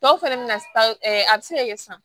Dɔw fɛnɛ bɛ na a bɛ se ka kɛ sisan